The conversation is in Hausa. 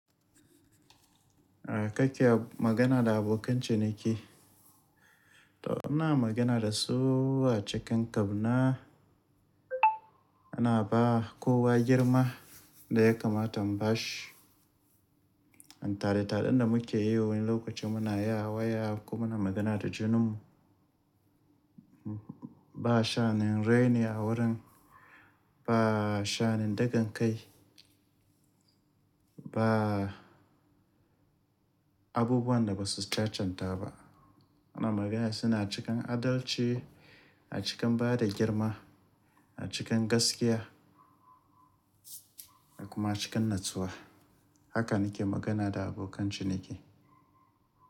Ya kake magana da abokan ciniki? To ina magana da su a cikin kabna, ana ba kowa girma da ya kamata imbashi. An tare taɗin da muke yi wani lokacin muna waya komu na magana da junanmu. Ba sha'anin raini a wurin, ba sha'anin dagakai, ba abubuwan da basu cancanta ba. Muna magana suna cikin adalci, a cikin bada girma, a cikin gaskiya dakuma cikin natsuwa. Haka nake magana da abokan ciniki.